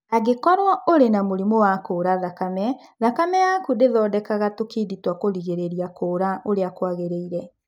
Angĩkorũo ũrĩ na mũrimũ wa kuura thakame, thakame yaku ndĩthondekaga tũkindi twa kũrigĩrĩria kuura ũrĩa kwagĩrĩire.